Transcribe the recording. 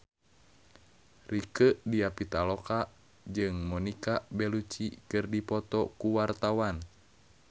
Rieke Diah Pitaloka jeung Monica Belluci keur dipoto ku wartawan